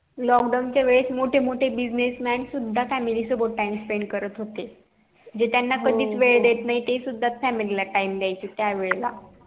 lockdown च्या वेळेस मोठे मोठे business man सुद्धा family सोबत time spend करत होते जे त्याना कधी च वेळ देत नई ते सुद्धा family time दयायचे त्या वेळेला